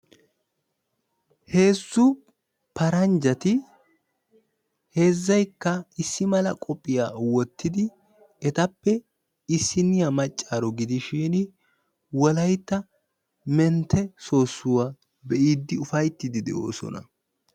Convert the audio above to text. Heezzu paranjjati heezzaykka issi mala qophphiyaa woottidi etappe isinniyaa maccaaro gidishin wolaytta mentte soossuwaa be'iidi ufayttiidi de"oosona.